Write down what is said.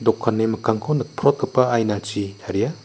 dokani mikkangko nikprotgipa ainachi taria.